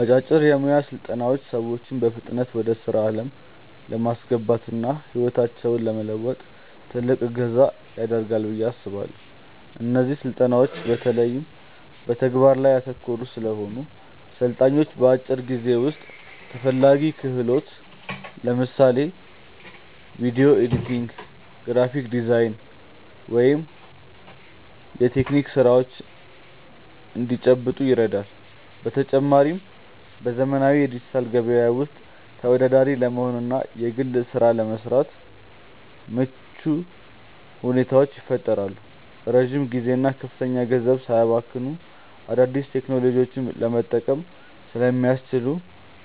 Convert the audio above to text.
አጫጭር የሞያ ስልጠናዎች ሰዎችን በፍጥነት ወደ ስራ ዓለም ለማስገባትና ህይወታቸውን ለመለወጥ ትልቅ እገዛ ያደርጋሉ ብዬ አስባለው። እነዚህ ስልጠናዎች በተለይ በተግባር ላይ ያተኮሩ ስለሆኑ፣ ሰልጣኞች በአጭር ጊዜ ውስጥ ተፈላጊ ክህሎትን (ለምሳሌ ቪዲዮ ኤዲቲንግ፣ የግራፊክ ዲዛይን ወይም የቴክኒክ ስራዎች) እንዲጨብጡ ይረዳሉ። በተጨማሪም፣ በዘመናዊው የዲጂታል ገበያ ውስጥ ተወዳዳሪ ለመሆንና በግል ስራ ለመሰማራት ምቹ ሁኔታን ይፈጥራሉ። ረጅም ጊዜና ከፍተኛ ገንዘብ ሳያባክኑ አዳዲስ ቴክኖሎጂዎችን ለመቅሰም ስለሚያስችሉ፣